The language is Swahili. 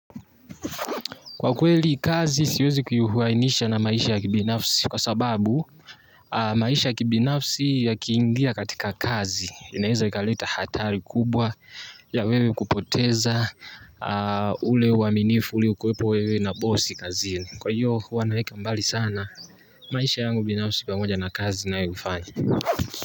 Kwa kweli kazi siwezi kuihuainisha na maisha ya kibinafsi. Kwa sababu maisha ya kibinafsi ya kiingia katika kazi inaeza ikaleta hatari kubwa ya wewe kupoteza ule uaminifu uliokuwepo wewe na bosi kazini. Kwa hiyo huwanaweka mbali sana maisha yangu binafsi pamoja na kazi na yoifanya.